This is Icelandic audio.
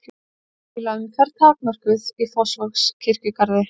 Bílaumferð takmörkuð í Fossvogskirkjugarði